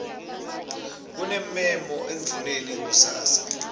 kunemmemo endvuneni kusasa